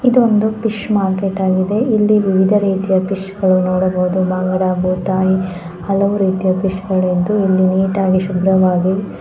ಇದೊಂದು fish market ಆಗಿದೆ ಇಲ್ಲಿ ವಿವಿಧ ರೀತಿಯ ಫಿಶ್ ಗಳನ್ನು ನೋಡಬಹುದು. ಬಾಂಗ್ಡಾ ಭೂತಾಯಿ ಹಲವು ರೀತಿಯ ಫಿಶನ್ನು ನೋಡಬಹುದು. ಇಲ್ಲಿ ನೀಟಾಗಿ ಶುಭ್ರವಾಗಿ--